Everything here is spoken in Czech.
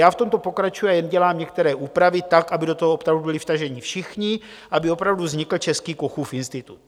Já v tomto pokračuji a jen dělám některé úpravy tak, aby do toho opravdu byli vtaženi všichni, aby opravdu vznikl český Kochův institut.